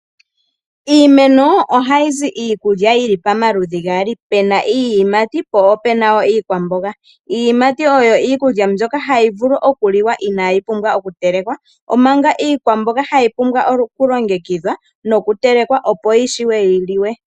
Iimeno ohayi zi iikulya yili pamaludhi gaali, pena iiyimati po opena wo iikwamboga. Iiyimati oyo iikulya mbyoka hayi vulu okuliwa inaayi pumbwa okutelekwa omanga iikwamboga hayi pumbwa okulongekidhwa nokutelekwa opo yi shiwe yi liwe.